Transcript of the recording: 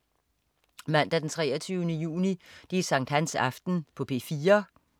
Mandag den 23. juni. Sankthansaften - P4: